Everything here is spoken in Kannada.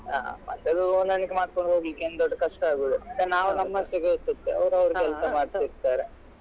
ಹ ಮತ್ತೆ ಅದು ಹೊಂದಾಣಿಕೆ ಮಾಡ್ಕೊಂಡು ಹೋಗ್ಲಿಕ್ಕೆ ಏನ್ ದೊಡ್ಡ ಕಷ್ಟ ಆಗುದಿಲ್ಲ. ನಾವ್ ನಮ್ಮಷ್ಟಕ್ಕೆ ಇರ್ತಿದ್ರೆ ಕೆಲ್ಸ ಮಾಡ್ತಿರ್ತಾರೆ.